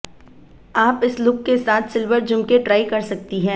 आप इस लुक के साथ सिल्वर झुमके ट्राई कर सकती है